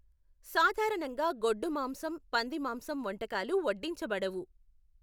సాధారణంగా గొడ్డు మాంసం, పంది మాంసం వంటకాలు వడ్డించబడవు.